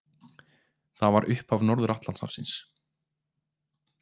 Það var upphaf Norður-Atlantshafsins.